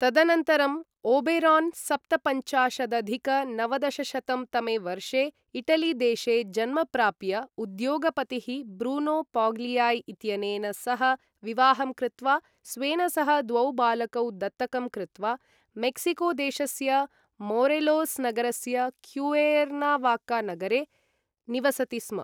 तदनन्तरं ओबेरोन् सप्तपञ्चाशदधिक नवदशशतं तमे वर्षे इटलीदेशे जन्म प्राप्य उद्योगपतिः ब्रूनो पाग्लियाई इत्यनेन सह विवाहं कृत्वा स्वेन सह द्वौ बालकौ दत्तकं कृत्वा मेक्सिकोदेशस्य मोरेलोस् नगरस्य क्युएर्नावाका नगरे निवसति स्म ।